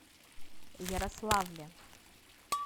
ярославле